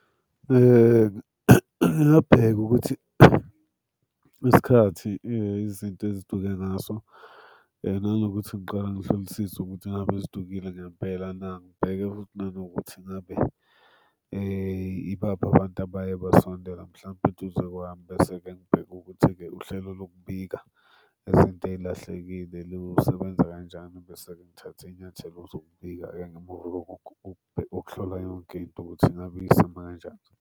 Ngingabheka ukuthi isikhathi izinto eziduke ngaso nanokuthi ngiqale ngihlolisise ukuthi ngabe zidukile ngempela na. Ngibheke futhi nanokuthi ngabe ibaphi abantu abaye basondela mhlampe eduze kwami. Bese-ke ngibheke ukuthi-ke uhlelo lokubika izinto ey'lahlekile lusebenza kanjani. Bese-ke ngithathe iy'nyathelo zokubika okuhlola yonke into ukuthi ngabe iyisima kanjani.